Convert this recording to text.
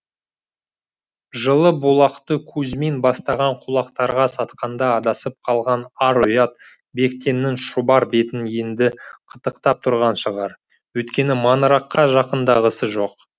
жылы бұлақты кузьмин бастаған кулактарға сатқанда адасып қалған ар ұят бектеннің шұбар бетін енді қытықтап тұрған шығар өйткені маңыраққа жақындағысы жоқ